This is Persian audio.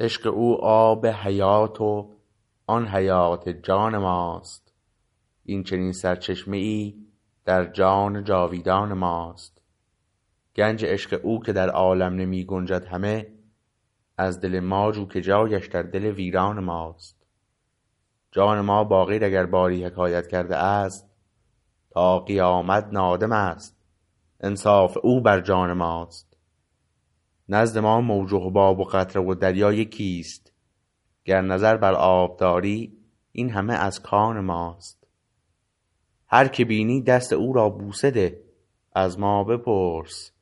عشق او آب حیات و آن حیات جان ماست این چنین سرچشمه ای در جان جاویدان ماست گنج عشق او که در عالم نمی گنجد همه از دل ما جو که جایش در دل ویران ماست جان ما با غیر اگر باری حکایت کرده است تا قیامت نادم است انصاف او بر جان ماست نزد ما موج و حباب و قطره و دریا یکیست گر نظر بر آب داری این همه از کان ماست هر که بینی دست او را بوسه ده از ما بپرس